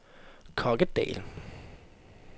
Kokkedal